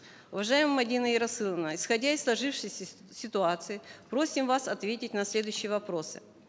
уважаемая мадина ерасыловна исходя из сложившейся ситуации просим вас ответить на следующие вопросы